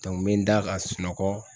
n bɛ n da ka sunɔgɔ.